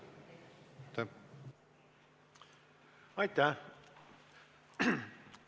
Aitäh!